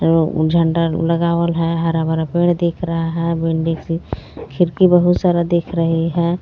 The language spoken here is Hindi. झंडा लगावेल है हरा भरा पेड़ दिख रहा है बिल्डिंग की खिड़की बहुत सारा दिख रही है.